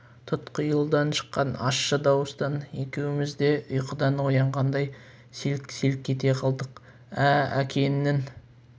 тұтқиылдан шыққан ащы дауыстан екеуміз де ұйқыдан оянғандай селк-селк ете қалдық ә әкеңнің